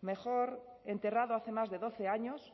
mejor enterrado hace más de doce años